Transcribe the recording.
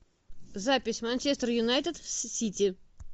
запись манчестер юнайтед с сити